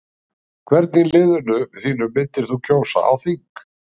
Hvern í liðinu þínu myndir þú kjósa á þing?